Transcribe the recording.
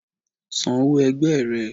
San òwó ẹ̀gbẹ rẹ̀